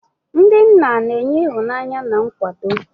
Ndị nna na-enye ịhụnanya na nkwado.